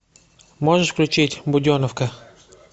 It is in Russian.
можешь включить буденовка